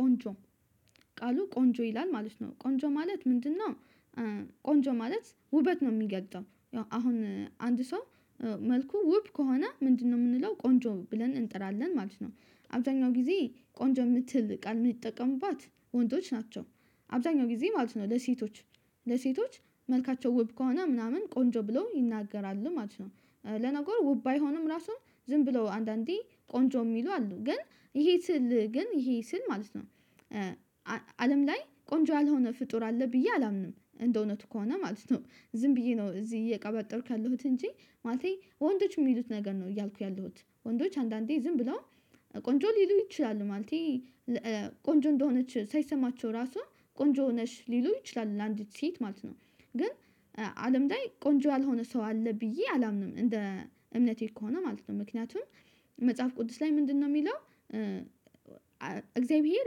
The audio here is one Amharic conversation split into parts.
ቆንጆ ቃሉ ቆንጆ ይላል ማለት ነው ቆንጆ ማለት ምንድነው? ቆንጆ ማለት ውበት ነው የሚገልጸው አሁን አንድ ሰው መልኩ ውብ ከሆነ ምንድነው የምንለው ቆንጆ ብለን እንጥራለን ማለት ነው። አብዛኛው ጊዜ ቆንጆ የምትል ቃል የምትጠቀሙባት ወንዶች ናቸው። አብዛኛው ጊዜ ማለት ነው ለሴቶች ለሴቶች መልካቸው ውብ ከሆነ ምናምን ቆንጆ ብለው ይናገራሉ ማለት ነው። ለነገር ውብ አይሆንም ራሱን ዝም ብለው አንዳንዴ ቆንጆ የሚሉ አሉ ግን ይሄ ስል ግን ይሄ ስል ማለት ነው። አለም ላይ ቆንጆ ያልሆነ ፍጡር አለ ብዬ አላምንም እንደው እውነቱ ከሆነ ማለት ነው። ዝም ብዬ ነው እዚህ እየቀበጠርኩ ያለሁት እንጂ ማለቴ ወንዶች የሚሉት ነገር ነው እያልኩ ያለሁት ወንዶች አንዳንዴ ዝም ብለው ቆንጆ ሊሉ ይችላሉ ማለት ነው። ቆንጆ እንደሆነች ሳይሰማቸው ራሱ ቆንጆ ነሽ ሊሉ ይችላል ለአንዲት ሴት ማለት ነው። ግን አለም ላይ ቆንጆ ያልሆነ ሰው አለ ብዬ አላምንም እንደ እምነቴ ከሆነ ማለት ነው ምክንያቱም። መጽሐፍ ቅዱስ ላይ ምንድነው የሚለው? እግዚአብሔር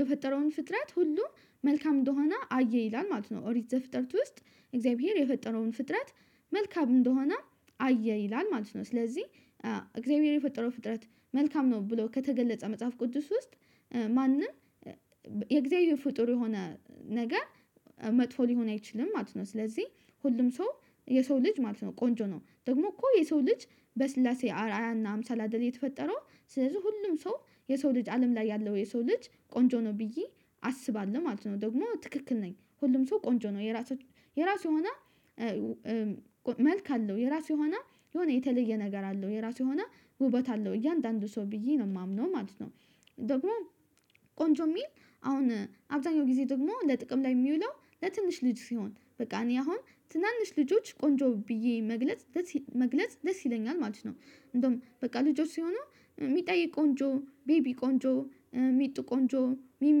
የፈጠረውን ፍጥረት ሁሉ መልካም እንደሆነ አየ ይላል ማለት ነው። ኦሪት ዘፍጥረት ውስጥ እግዚአብሔር የፈጠረውን ፍጥረት መልካም እንደሆነ አየ ይላል ማለት ነው። ስለዚህ እግዚአብሔር የፈጠረው ፍጥረት መልካም ነው ብሎ ከተገለጸ መጽሐፍ ቅዱስ ውስጥ ማንም የእግዚአብሔር ፍጡር የሆነ ነገር መጥፎ ሊሆን አይችልም ማለት ነው። ስለዚህ ሁሉም ሰው የሰው ልጅ ማለት ነው ቆንጆ ነው ደግሞ እኮ የሰው ልጅ በስላሴ አርአያና አምሳላ አደል የተፈጠረው ስለዚህ ሁሉም ሰው የሰው ልጅ አለም ላይ ያለው የሰው ልጅ ቆንጆ ነው ብዬ አስባለሁ ማለት ነው። ደግሞ ትክክል ነኝ ሁሉም ሰው ቆንጆ ነው የራሱ የራሱ የሆነ መልክ አለው የራሱ የሆነ የሆነ የተለየ ነገር አለው የራሱ የሆነ ውበት አለው እያንዳንዱ ሰው ብዬ ነው የማምነው ማለት ነው። ደግሞ ቆንጆ የሚል አሁን አብዛኛው ጊዜ ደግሞ ለጥቅም ላይ የሚውለው ለትንሽ ልጅ ሲሆን በቃ እኔ አሁን ትናንሽ ልጆች ቆንጆ ብዬ መግለጽ መግለጽ ደስ ይለኛል ማለት ነው። እንደውም በቃ ልጆች ሲሆኑ ሚጣዬ ቆንጆ ቢቢ ቆንጆ ሚጡ ቆንጆ ሚሚ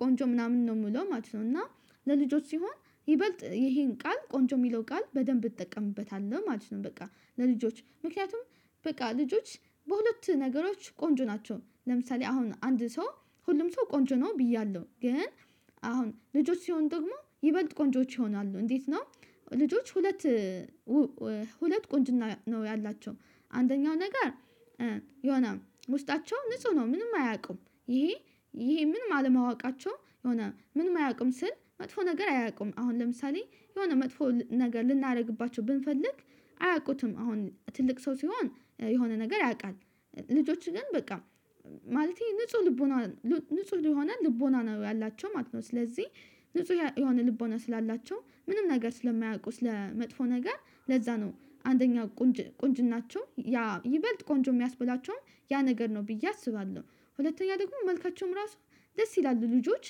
ቆንጆ ምናምን ነው የምለው ማለት ነው። እና ለልጆች ሲሆን ይበልጥ ይሄን ቃል ቆንጆ የሚለው ቃል በደንብ እጠቀምበታለሁ ማለት ነው። በቃ ለልጆች ምክንያቱም በቃ ልጆች በሁለት ነገሮች ቆንጆ ናቸው ለምሳሌ አሁን አንድ ሰው ሁሉም ሰው ቆንጆ ነው ብያለሁ ግን አሁን ልጆች ሲሆን ደግሞ ይበልጥ ቆንጆዎች ይሆናሉ እንዴት ነው? ልጆች ሁለት ሁለት ቆንጅና ነው ያላቸው አንደኛው ነገር የሆነ ውስጣቸው ንጹህ ነው ምንም አያውቁም ይሄ ይሄ ምንም አለማወቃቸው የሆነ ምን አያውቁም ስል መጥፎ ነገር አያውቁም አሁን ለምሳሌ የሆነ መጥፎ ነገር ልናደርግባቸው ብንፈልግ አያውቁትም አሁን ትልቅ ሰው ሲሆን የሆነ ነገር ያውቃል ልጆችን ግን በቃ ማለቴ ንጹህ ልቦና ንጹህ የሆነ ልቦና ነው ያላቸው ማለት ነው። ስለዚህ ንጹህ የሆነ ልቦና ስላላቸው ምንም ነገር ስለማያውቁ ስለመጥፎ ነገር ለዛ ነው አንደኛ ቁንጅ ቁንጅናቸው ያ ይበልጥ ቆንጆ የሚያስበላቸውም ያ ነገር ነው ብዬ አስባለሁ። ሁለተኛ ደግሞ መልካቸውም ራሱ ደስ ይላሉ ልጆች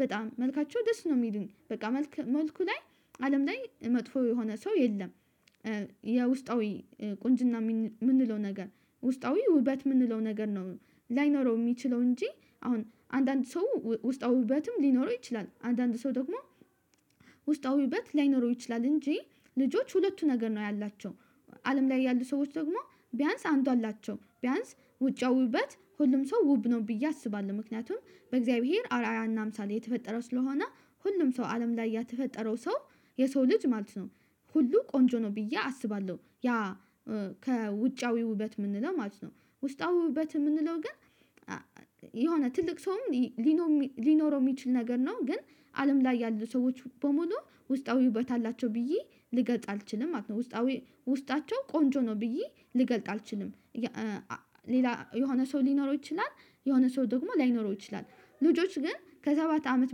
በጣም መልካቸው ደስ ነው የሚሉኝ በቃ መልኩ ላይ አለም ላይ መጥፎ የሆነ ሰው የለም። የውስጣዊ ቁንጅና የምንለው ነገር ውስጣዊ ውበት የምንለው ነገር ነው ላይኖረው የሚችለው እንጂ አሁን አንዳንድ ሰው ውስጣዊ ውበትም ሊኖረው ይችላል አንዳንድ ሰው ደግሞ ውበት ላይኖረው ይችላል እንጂ ልጆች ሁለቱ ነገር ነው ያላቸው አለም ላይ ያሉ ሰዎች ደግሞ ቢያንስ አንዱአላቸው ቢያንስ ውጫዊውበት ሁሉም ሰው ውብ ነው ብዬ አስባለሁ ምክንያቱም በእግዚአብሔር አርአያና አምሳል የተፈጠረው ስለሆነ ሁሉም ሰው አለም ላይ ያተፈጠረው ሰው የሰው ልጅ ማለት ነው። ሁሉ ቆንጆ ነው ብዬ አስባለሁ ያ ከውጫዊ ውበት የምንለው ማለት ነው። ውስጣዊ ውበት የምንለው ግን የሆነ ትልቅ ሰውም ሊኖረው የሚችል ነገር ነው ግን አለም ላይ ያሉ ሰዎች በሙሉ ውስጣዊ ውበት አላቸው ብዬ ልገልጥ አልችልም ማለት ነው ውስጣዊ ውስጣቸው ቆንጆ ነው ብዬ ልገልጥ አልችልም። ሌላ የሆነ ሰው ሊኖረው ይችላል የሆነ ሰው ደግሞ ላይኖረው ይችላል ልጆች ግን ከሰባት አመት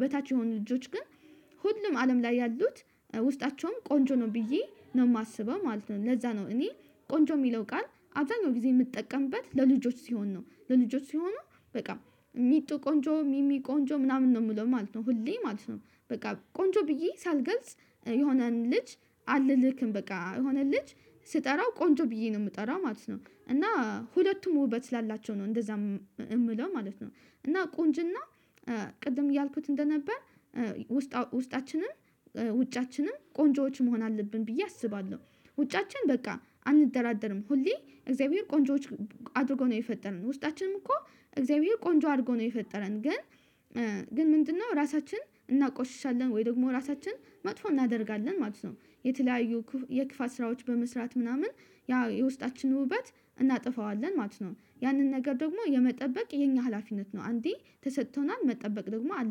በታች የሆኑ ልጆች ግን ሁሉም አለም ላይ ያሉት ውስጣቸውም ቆንጆ ነው ብዬ ነው የማስበው ማለት ነው። ለዛ ነው እኔ ቆንጆ የሚለው ቃል አብዛኛው ጊዜ የምጠቀምበት ለልጆች ሲሆን ነው ለልጆች ሲሆኑ በቃ ሚጡ ቆንጆ ሚሚ ቆንጆ ምናምን ነው የምለው ማለት ነው ሁሌ ማለት ነው። በቃ ቆንጆ ብዬ ሳልገልጽ የሆነን ልጅ አልክም በቃ የሆነ ልጅ ስጠራው ቆንጆ ብዬ ነው የምጠራው ማለት ነው። እና ሁለቱም ውበት ስላላቸው ነው እንደዛ የምለው ማለት ነው። እና ቁንጅና ቅድም እያልኩት እንደነበር ውስጣችንም ውጫችንም ቆንጆዎች መሆን አለብን ብዬ አስባለሁ። ውጫችን በቃ አንደራደርም ሁሌ እግዚአብሔር ቆንጆዎች አድርጎ ነው የፈጠርን ውስጣችንም እኮ እግዚአብሔር ቆንጆ አድርጎ ነው የፈጠረን ግን ግን ምንድነው ራሳችንን እናቆሽሻለን ወይ ደግሞ ራሳችንን መጥፎ እናደርጋለን ማለት ነው። የተለያዩ የክፋት ስራዎች በመስራት ምናምን ያ የውስጣችን ውበት እናጠፋዋለን ማለት ነው ያንን ነገር ደግሞ የመጠበቅ የኛ ሀላፊነት ነው አንዴ ተሰጥቶናል መጠበቅ ደግሞ አለ